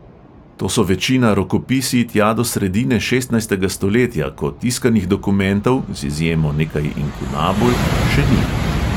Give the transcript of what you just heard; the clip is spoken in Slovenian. To so večina rokopisi tja do sredine šestnajstega stoletja, ko tiskanih dokumentov, z izjemo nekaj inkunabul, še ni.